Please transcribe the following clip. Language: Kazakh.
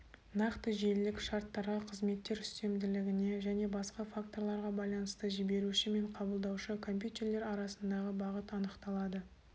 нақты желілік шарттарға қызметтер үстемділігіне және басқа факторларға байланысты жіберуші мен қабылдаушы компьютерлер арасындағы бағыт анықталады